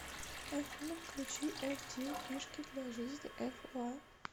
афина включи эф диу фишки для жизни эф уа